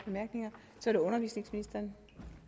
fem